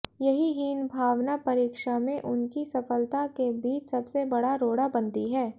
यही हीन भावना परीक्षा में उनकी सफलता के बीच सबसे बड़ा रोड़ा बनती है